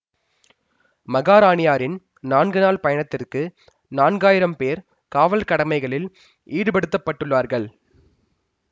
மகாராணியாரின் நான்கு நாள் பயணத்துக்கு நான்காயிரம் பேர் காவல் கடமைகளில் ஈடுபடுத்தப்பட்டுள்ளார்கள்